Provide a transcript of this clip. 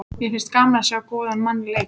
Mér finnst gaman að sjá góðan mann leika.